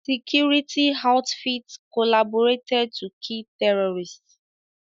Security outfits collaborated to kill terrorists